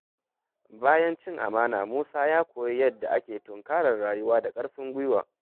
Bayan cin amana, Musa ya koyi yadda ake tunkarar rayuwa da ƙarfin gwiwa.